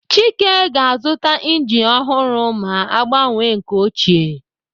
Chike ga-azụta injin ọhụrụ ma gbanwee nke ochie.